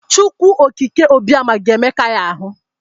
Chukwu okike Obioma ga-emeka ya ahụ.